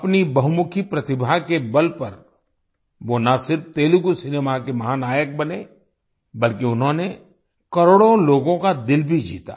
अपनी बहुमुखी प्रतिभा के बल पर वो न सिर्फ तेलुगु सिनेमा के महानायक बने बल्कि उन्होंने करोड़ो लोगों का दिल भी जीता